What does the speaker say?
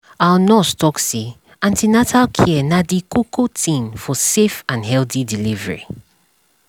our nurse talk say an ten atal care na dey koko tin for safe and healthy delivery